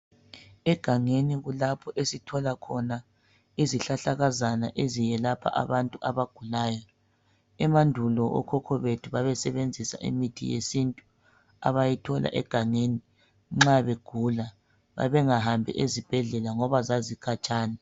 Egangeni kulapho esithola khona izihlahlakazana eziyelapha abantu abagulayo. Emandulo okhokho bethu babesebenzisa imithi yesintu abayithola egangeni nxa begula. Babengahambi ezibhedlela ngoba zazikhatshana.